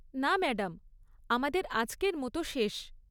না ম্যাডাম, আমাদের আজকের মতো শেষ।